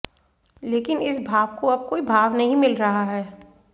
लेकिन इस भाव को अब कोई भाव नहीं मिल रहा है